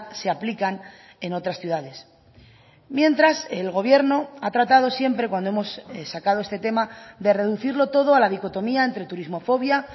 se aplican en otras ciudades mientras el gobierno ha tratado siempre cuando hemos sacado este tema de reducirlo todo a la dicotomía entre turismofobia